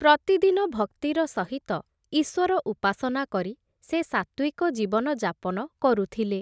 ପ୍ରତିଦିନ ଭକ୍ତିର ସହିତ ଈଶ୍ୱର ଉପାସନା କରି ସେ ସାତ୍ୱିକ ଜୀବନ ଯାପନ କରୁଥିଲେ ।